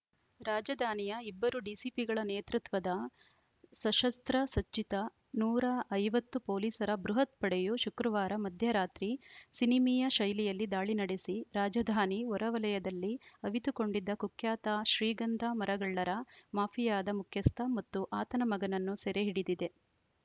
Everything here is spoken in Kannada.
ರಾಜಧಾನಿಯ ಇಬ್ಬರು ಡಿಸಿಪಿಗಳ ನೇತೃತ್ವದ ಸಶಸ್ತ್ರ ಸಜ್ಜಿತ ನೂರ ಐವತ್ತು ಪೊಲೀಸರ ಬೃಹತ್‌ ಪಡೆಯು ಶುಕ್ರವಾರ ಮಧ್ಯ ರಾತ್ರಿ ಸಿನಿಮೀಯ ಶೈಲಿಯಲ್ಲಿ ದಾಳಿ ನಡೆಸಿ ರಾಜಧಾನಿ ಹೊರವಲಯದಲ್ಲಿ ಅವಿತುಕೊಂಡಿದ್ದ ಕುಖ್ಯಾತ ಶ್ರೀಗಂಧ ಮರಗಳ್ಳರ ಮಾಫಿಯಾದ ಮುಖ್ಯಸ್ಥ ಮತ್ತು ಆತನ ಮಗನನ್ನು ಸೆರೆ ಹಿಡಿದಿದೆ